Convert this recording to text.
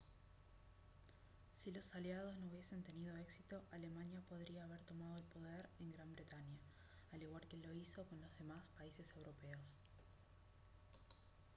si los aliados no hubiesen tenido éxito alemania podría haber tomado el poder en gran bretaña al igual que lo hizo con los demás países europeos